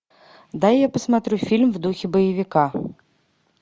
дай я посмотрю фильм в духе боевика